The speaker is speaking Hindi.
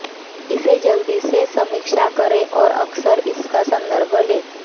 इसे जल्दी से समीक्षा करें और अक्सर इसका संदर्भ लें